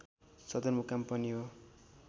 सदरमुकाम पनि हो।